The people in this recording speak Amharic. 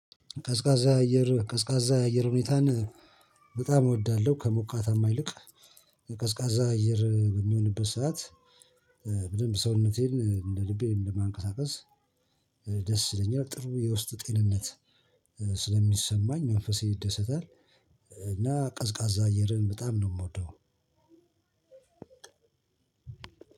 ቀዝቃዛ አየር፣ ቀዝቃዛ አየር ሁኔታን በጣም እወዳለሁ ከሞቃታማ አይልቅ። ቀዝቃዛ አየር በሚሆንበት ሰዓት በደንብ ሰውነቴን እንደ ልቤ እንደ ማንቀሳቀስ ደስ ይለኛል። ጥሩ የውስጥ ጤንነት ስለሚሰማኝ መንፈሴ ይደሰታል። እና ቀዝቃዛ አየርን በጣም ነው የምወደው።